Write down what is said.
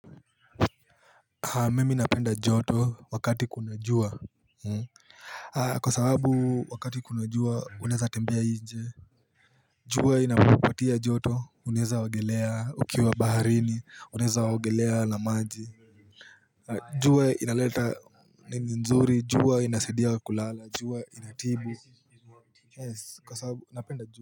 Mimi napenda joto wakati kuna jua Kwa sababu wakati kuna jua uneza tembia inje jua inapopatia joto uneza ongelea ukiwa baharini uneza ongelea na maji jua inaleta ni nzuri jua inasaidi kulala jua inatibu.